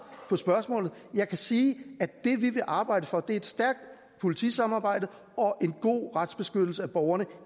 på spørgsmålet jeg kan sige at det vi vil arbejde for et stærkt politisamarbejde og en god retsbeskyttelse af borgerne